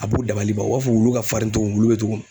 A b'u dabaliban. U b'a fɔ wulu ka farin togo mun, wulu be togo mun